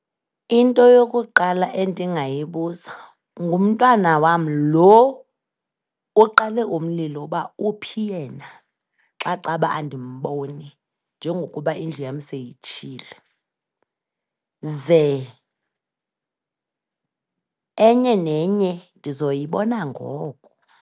Into yokuqala endingayibuza, ngumntana wam lo oqale umlilo uba uphi yena xa caba andimboni njengokuba indlu yam seyitshile, ze enye nenye ndizoyibona ngoko.